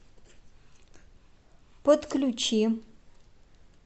подключи